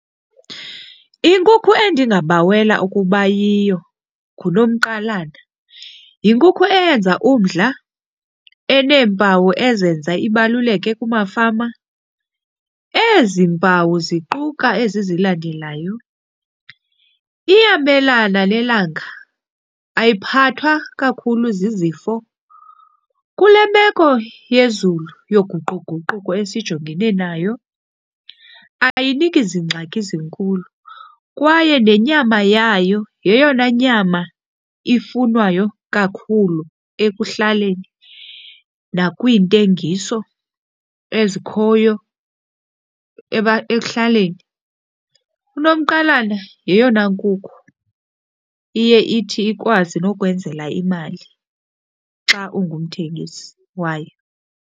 Inkukhu endingabawela ukuba yiyo nguNomqalana. Yinkukhu eyenza umdla eneempawu ezenza ibaluleke kumafama. Ezi mpawu ziquka ezi zilandelayo. Iyamelana nelanga, ayiphathwa kakhulu zizifo. Kule meko yezulu yoguquguquko esijongene nayo ayiniki zingxaki zinkulu kwaye nenyama yayo yeyona nyama ifunwayo kakhulu ekuhlaleni nakwiintengiso ezikhoyo ekuhlaleni. UNomqalana yeyona nkukhu iye ithi ikwazi nokwenzela imali xa ungumthengisi wayo.